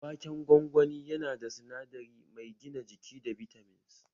Waken gwangwani yana da sinadari mai gina jiki da bitamins